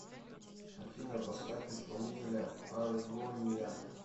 афина поставь исполнителя аргония